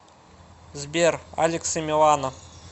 сбер алекс и милана